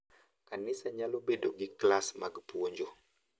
Kanisa nyalo bedo gi klas mag puonjo